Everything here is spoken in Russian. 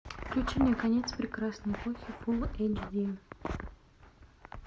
включи мне конец прекрасной эпохи фулл эйч ди